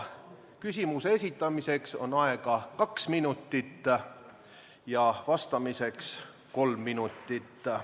Küsimuse esitamiseks on aega kaks minutit ja vastamiseks kolm minutit.